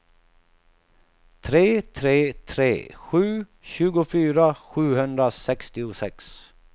tre tre tre sju tjugofyra sjuhundrasextiosex